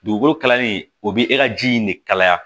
Dugukolo kalali o bɛ e ka ji in de kalaya